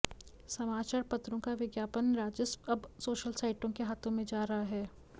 समाचार पत्रों का विज्ञापन राजस्व अब सोशल साइटों के हाथों में जा रहा है